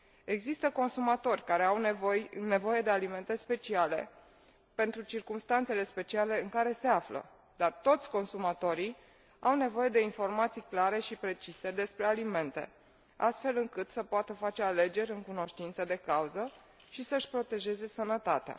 Există consumatori care au nevoie de alimente speciale, pentru circumstanțele speciale în care se află, dar toți consumatorii au nevoie de informații clare și precise despre alimente, astfel încât să poată face alegeri în cunoștință de cauză și să și protejeze sănătatea.